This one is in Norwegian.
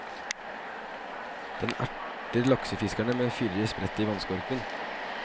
Den erter laksefiskerne med fyrige sprett i vannskorpen.